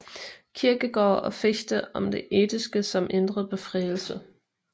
Kierkegaard og Fichte om det etiske som indre befrielse